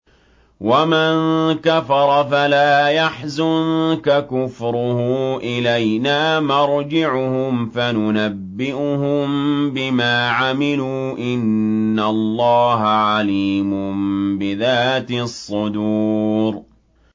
وَمَن كَفَرَ فَلَا يَحْزُنكَ كُفْرُهُ ۚ إِلَيْنَا مَرْجِعُهُمْ فَنُنَبِّئُهُم بِمَا عَمِلُوا ۚ إِنَّ اللَّهَ عَلِيمٌ بِذَاتِ الصُّدُورِ